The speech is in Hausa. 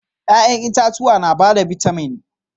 Yayan itatuwa na ba da bitamin.